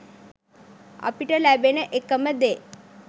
අපිට ලැබෙන එකම දේ